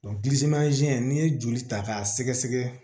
gilimanze n'i ye joli ta k'a sɛgɛsɛ